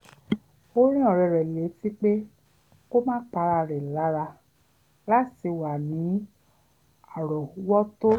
ó rán ọ̀rẹ́ rẹ̀ létí pé kó má pa ara rẹ̀ lára láti wà ní árọ̀ọ́wọ́tó